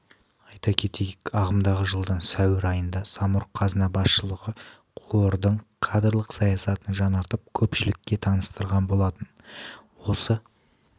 айта кетейік ағымдағы жылдың сәуір айында самұрық-қазына басшылығы қордың кадрлық саясатын жаңартып көпшілікке таныстырған болатын осы